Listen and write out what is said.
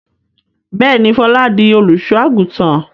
Bẹ́ẹ̀ni, Fọlá di olùṣọ́-àgùntàn.